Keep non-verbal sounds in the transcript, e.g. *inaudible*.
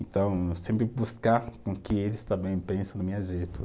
Então, sempre buscar com que eles também pensem *unintelligible* jeito.